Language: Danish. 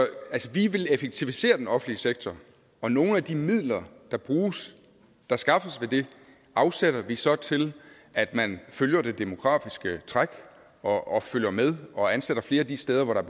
vi vil effektivisere den offentlige sektor og nogle af de midler der skaffes ved det afsætter vi så til at man følger det demografiske træk og og følger med og ansætter flere de steder hvor der